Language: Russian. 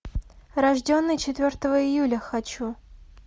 рожденный четвертого июля хочу